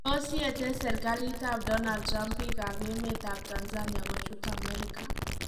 Tos yetee serkalit ab Donald Trump biik ab emet ab Tanzania kochut america.